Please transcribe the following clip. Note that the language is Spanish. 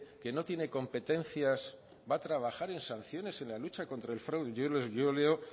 que no tiene competencias va a trabajar en sanciones en la lucha contra el fraude yo leo